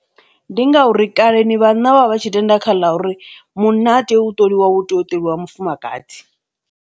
Ndi ngauri kaleni vhanna vha vha tshi tenda kha ḽa uri, munna ha tei u ṱoliwa hu tea u ṱolwa mufumakadzi.